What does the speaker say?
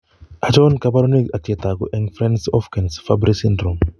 Achon kaborunoik ak chetogu eng' Fryns Hofkens Fabry syndrome